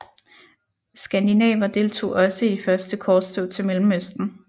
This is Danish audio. Skandinaver deltog også i de første korstog til Mellemøsten